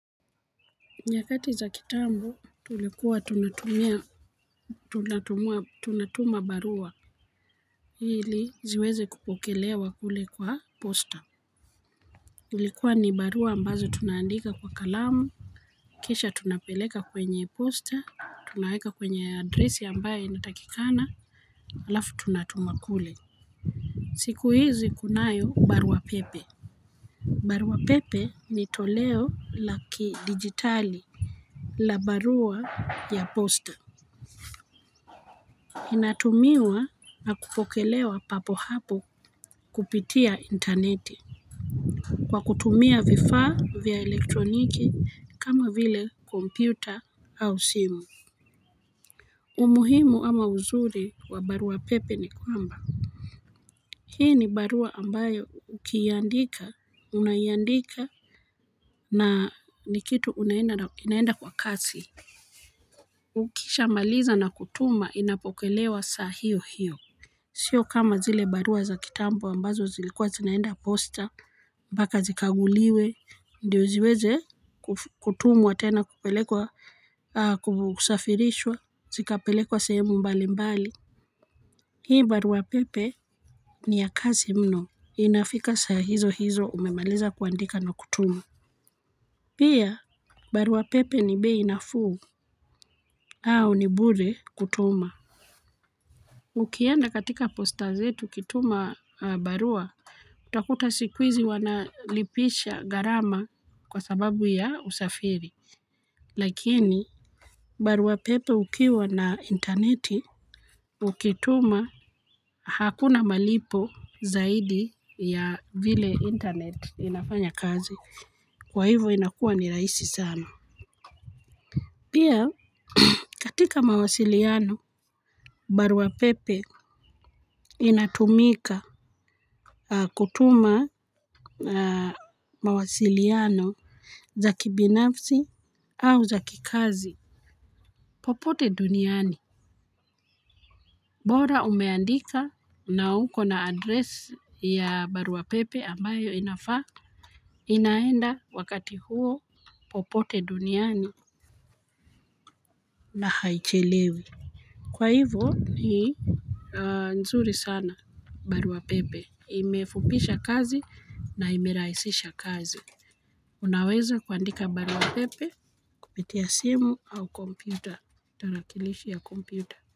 Nyakati za kitambo tulikuwa tunatumia tunatuma barua ili ziweze kupokelewa kule kwa posta. Ilikuwa ni barua ambazo tunaandika kwa kalamu. Kisha tunapeleka kwenye posta tunaweka kwenye adresi ambaye inatakikana alafu tunatuma kule. Siku hizi kunayo baruapepe. Baruapepe ni toleo la kidigitali. La barua ya posta inatumiwa na kupokelewa papo hapo kupitia interneti. Kwa kutumia vifaa vya elektroniki kama vile kompyuta au simu. Umuhimu ama uzuri wa barua pepe ni kwamba hii ni barua ambayo ukiiandika unaiandika na ni kitu inaenda kwa kasi. Ukishamaliza na kutuma inapokelewa saa hiyo hiyo. Sio kama zile barua za kitambo ambazo zilikuwa zinaenda poster mpaka zikaguliwe ndio ziweze kutumwa tena kupelekwa kusafirishwa zikapelekwa sehemu mbali mbali. Hii barua pepe ni ya kazi mno inafika saa hizo hizo umemaliza kuandika na kutuma. Pia barua pepe ni bei nafuu au ni bure kutuma. Ukienda katika poster zetu ukituma barua utakuta siku hizi wanalipisha gharama kwa sababu ya usafiri. Lakini baruapepe ukiwa na interneti, ukituma hakuna malipo zaidi ya vile internet inafanya kazi. Kwa hivyo inakua ni rahisi sana. Pia katika mawasiliano barua pepe inatumika kutuma mawasiliano za kibinafsi au za kikazi. Popote duniani bora umeandika na uko na addresi ya barua pepe ambayo inaenda wakati huo popote duniani na haichelewi. Kwa hivo ni nzuri sana barua pepe. Imefupisha kazi na imerahisisha kazi. Unaweza kuandika barua pepe kupitia simu au kompyuta. Tarakilishi ya kompyuta.